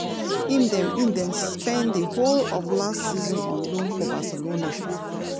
im den im den spend di whole of last season on loan for barcelona.